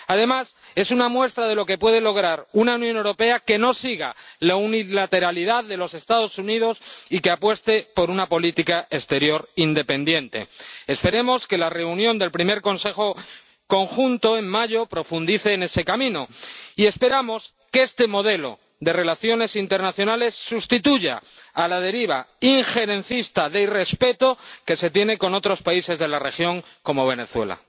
Además, es una muestra de lo que puede lograr una Unión Europea que no siga la unilateralidad de los Estados Unidos y que apueste por una política exterior independiente. Esperemos que la reunión del primer Consejo Conjunto, en mayo, profundice en ese camino, y esperamos que este modelo de relaciones internacionales sustituya a la deriva injerencista de irrespeto que se tiene con otros países de la región, como Venezuela.